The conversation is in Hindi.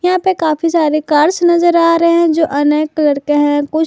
यहाँ पे काफी सारे कार्स नजर आ रहे हैं जो अनेक कलर हैं। कुछ--